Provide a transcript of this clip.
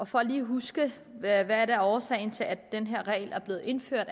for lige at huske folketinget hvad der er årsagen til at den her regel er blevet indført